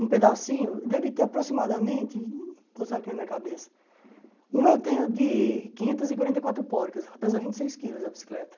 Um pedacinho, deve ter aproximadamente, vou usar aqui na minha cabeça, um eu tenho de quinhentos e quarenta e quatro porcas, ela pesa vinte e seis quilos a bicicleta.